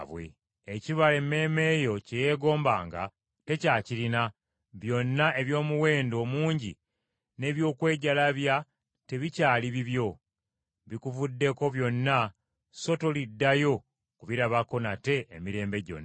“Ekibala emmeeme yo kye yeegombanga, tekyakirina, byonna eby’omuwendo omungi n’eby’okwejalabya tebikyali bibyo. Bikuvuddeko byonna so toliddayo kubirabako nate emirembe gyonna.”